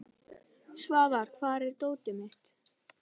Svafar, hvar er dótið mitt?